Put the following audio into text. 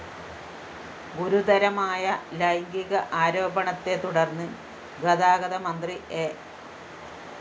ഗുരുതരമായ ലൈംഗിക ആരോപണത്തെത്തുടര്‍ന്ന് ഗതാഗത മന്ത്രി എ